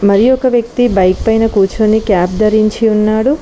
మరి ఒక వ్యక్తి బైక్ పైన కూర్చొని క్యాప్ ధరించి ఉన్నాడు.